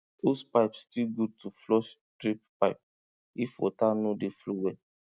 hosepipe still good to flush drip pipe if water no dey flow well